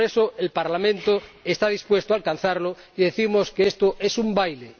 Por eso, el Parlamento está dispuesto a alcanzarlo y decimos que esto es un baile.